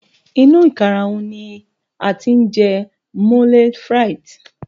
inu ikaraun ni a ti n je moule frite